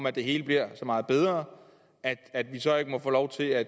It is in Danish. at det hele bliver så meget bedre at vi så ikke må få lov til at